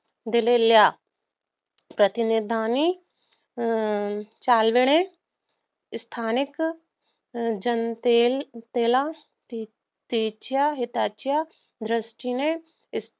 दिलेल्या प्रतिनिधिनी अं चालवणे. स्थानिक जनतेला तिच्या हिताच्या दृष्टीने